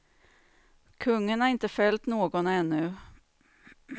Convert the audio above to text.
Kungen har inte fällt någon ännu.